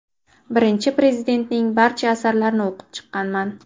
Birinchi Prezidentning barcha asarlarini o‘qib chiqqanman.